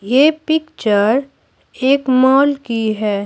ये पिक्चर एक मॉल की है।